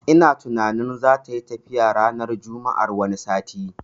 Ina tunanin zatayi tafiya ranar juma'ar wani sati